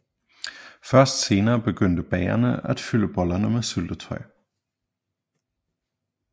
Først senere begyndte bagerne at fylde bollerne med syltetøj